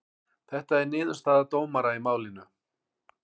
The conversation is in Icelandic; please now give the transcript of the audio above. Þetta er niðurstaða dómara í málinu